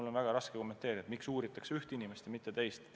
Mul on väga raske kommenteerida, miks uuritakse ühte inimest ja mitte teist.